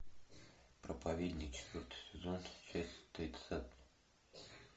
проповедник четвертый сезон часть тридцатая